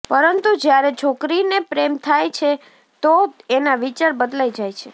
પરંતુ જયારે છોકરીને પ્રેમ થાય છે તો એના વિચાર બદલાય જાય છે